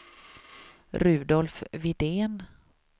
Rudolf Widén